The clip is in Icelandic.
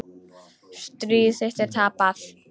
Stríð þitt er tapað.